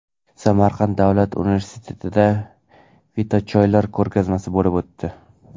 Samarqand davlat universitetida fitochoylar ko‘rgazmasi bo‘lib o‘tdi.